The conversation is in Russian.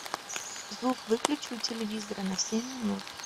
звук выключи у телевизора на семь минут